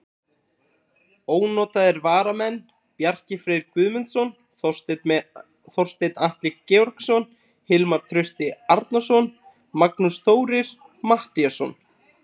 Ónotaðir varamenn: Bjarki Freyr Guðmundsson, Þorsteinn Atli Georgsson, Hilmar Trausti Arnarsson, Magnús Þórir Matthíasson.